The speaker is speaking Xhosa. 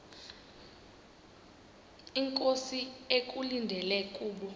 inkosi ekulindele kubo